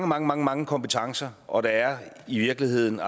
mange mange mange kompetencer og der er i virkeligheden